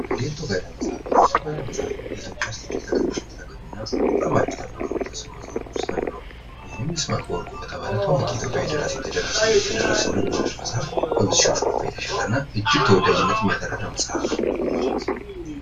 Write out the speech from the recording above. ዴርቶጋዳ መጽሐፈ። የዴርቶጋዳ መፅሀፍ በኢትዮጵያ እጅግ ተቀዳሚ የተገኙና በጣም አሪፍ ተብለው ከሚታሰቡ መጽሐፍት አንዱ ነው ።ይሄም ይስማዕከ ወርቁ በተባለ ትልቅ ኢትዮጵያዊ ደራሲ የተደረሰ ነው ።የተደረሰው ልብወለድ መጽሐፍ በብዙዎች ኮፒ የተሸጠና እጅግ ተወዳጅነት ያተረፈ መጽሐፍ ነው።